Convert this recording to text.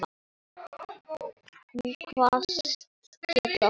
Hún kvaðst geta það.